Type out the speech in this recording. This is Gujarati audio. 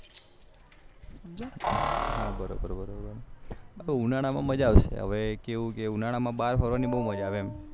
હા બરોબર બરોબર ઉનાળામાં મજા આવશે હવે કેવું કે ઉનાળામાં બાર ફરવાની મજા આવશે એમ